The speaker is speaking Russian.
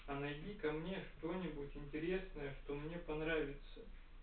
а найди ко мне что нибудь интересное что мне понравится